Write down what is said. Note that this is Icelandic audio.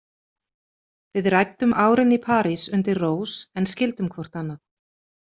Við ræddum árin í París undir rós en skildum hvort annað.